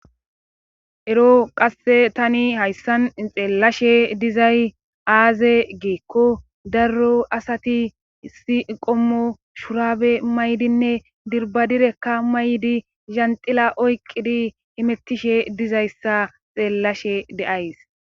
ero qasse tani hayssan xeellashe dizay aaze geekko darro asati si qommo shurabe maydinne dirbadirekka maydi zanxila oyqqidi imettishe dizayssa xeellashe deays